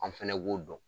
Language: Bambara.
An fɛnɛ b'o dɔn